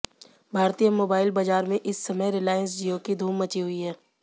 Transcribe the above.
भारतीय मोबाइल बाजार में इस समय रिलायंस जियो की धूम मची हुई है